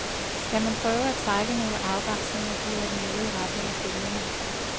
Skal man prøve at trække nogle afgrænsninger, bliver det noget i retning af følgende.